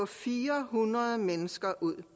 fire hundrede mennesker ud